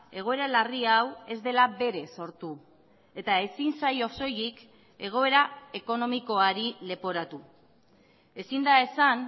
egoera larri hau ez dela berez sortu eta ezin zaio soilik egoera ekonomikoari leporatu ezin da esan